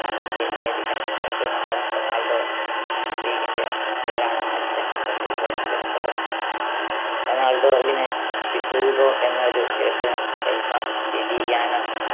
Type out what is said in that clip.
അന്നത്തെ American President മായ Ronald റീഗന്റെ പേരാണ് അച്ഛൻ തൻ്റെ ഇളയ മകന് ഇട്ടത്. റൊണാൾഡോവിന് ഹ്യൂഗോ എന്ന ഒരു ജ്യേഷ്ഠനും എൽമ, ലിലിയാന